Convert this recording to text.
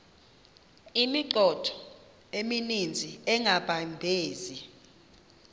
imithqtho emininzi engabaqbenzi